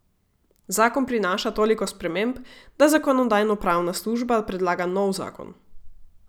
Zakon prinaša toliko sprememb, da zakonodajnopravna služba predlaga nov zakon.